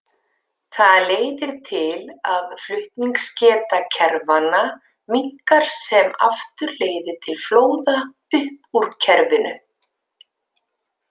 Það leiðir til að flutningsgeta kerfanna minnkar sem aftur leiðir til flóða upp úr kerfinu.